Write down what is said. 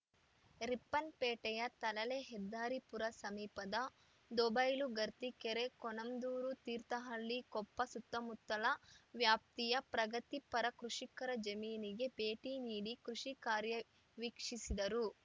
ರಿಪ್ಪನ್‌ಪೇಟೆಯ ತಳಲೆ ಹೆದ್ದಾರಿಪುರ ಸಮೀಪದ ದೋಬೈಲು ಗರ್ತಿಕೆರೆ ಕೊಣಂದೂರು ತೀರ್ಥಹಳ್ಳಿ ಕೊಪ್ಪ ಸುತ್ತಮುತ್ತಲ ವ್ಯಾಪ್ತಿಯ ಪ್ರಗತಿ ಪರ ಕೃಷಿಕರ ಜಮೀನಿಗೆ ಭೇಟಿ ನೀಡಿ ಕೃಷಿ ಕಾರ್ಯ ವೀಕ್ಷಿಸಿದರು